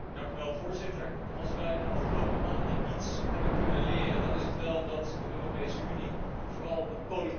Als wij de afgelopen maanden iets hebben kunnen leren, dan is het wel dat de Europese Unie vooral een politiek project is.